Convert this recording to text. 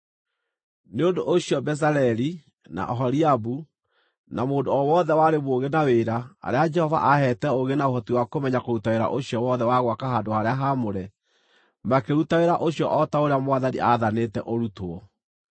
“Nĩ ũndũ ũcio Bezaleli, na Oholiabu, na mũndũ o wothe warĩ mũũgĩ na wĩra, arĩa Jehova aheete ũũgĩ na ũhoti wa kũmenya kũruta wĩra ũcio wothe wa gwaka handũ-harĩa-haamũre, makĩruta wĩra ũcio o ta ũrĩa Mwathani aathanĩte ũrutwo.”